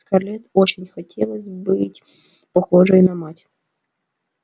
скарлетт очень хотелось быть похожей на мать